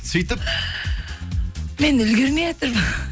сөйтіп мен үлгірмейатырмын